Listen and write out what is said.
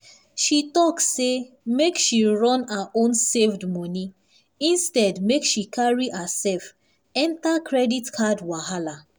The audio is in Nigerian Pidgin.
she talk say make she run her own saved money instead make she carry herself enter credit card wahala.